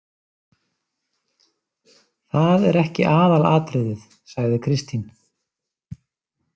Það er ekki aðalatriðið, sagði Kristín.